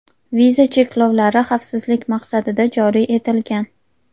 viza cheklovlari xavfsizlik maqsadida joriy etilgan.